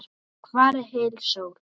Hvar er heil sól?